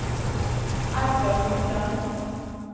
Edgar Hopland